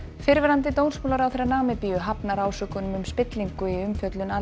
fyrrverandi dómsmálaráðherra Namibíu hafnar ásökunum um spillingu í umfjöllun Al